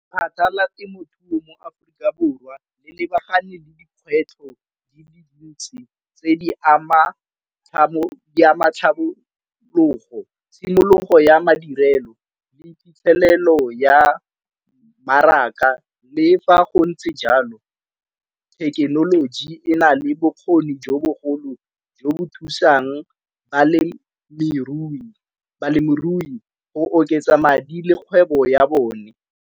temothuo mo Aforika Borwa le lebagane le dikgwetlho di le dintsi tse di ama tlhabologo, tshimologo ya madirelo, le phitlhelelo ya mmaraka. Le fa go ntse jalo thekenoloji e na le bokgoni jo bogolo jo bo thusang balemirui go oketsa madi le kgwebo ya bone.